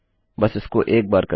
बस इसको एक बार करिए